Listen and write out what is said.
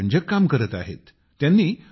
ते खूपच रंजक काम करत आहेत